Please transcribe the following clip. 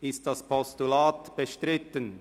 Ist das Postulat bestritten?